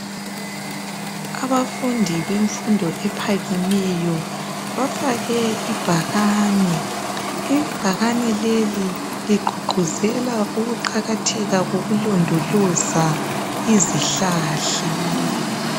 Abafundi bemfundo ephakameyo bafake ibhakani. Ibhakani leli ligqugquzela ukuqakatheka kokulondoloza izihlahla.